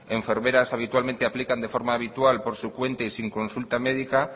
enfermeras habitualmente aplican de forma habitual por su cuenta y sin consulta médica